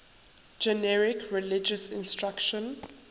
generic religious instruction